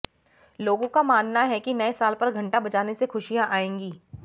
लोगों का मानना है कि नए साल पर घंटा बजाने से खुशियां आएंगी